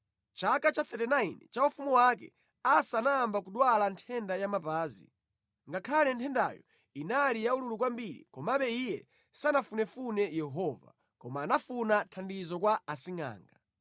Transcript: Mʼchaka cha 39 cha ufumu wake, Asa anayamba kudwala nthenda ya mapazi. Ngakhale nthendayo inali yaululu kwambiri, komabe iye sanafunefune Yehova, koma anafuna thandizo kwa asingʼanga.